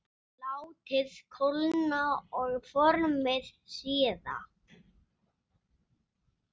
Látið kólna og formið síðan.